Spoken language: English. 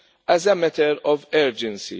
as a matter of urgency.